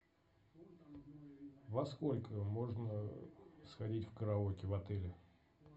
во сколько можно сходить в караоке в отеле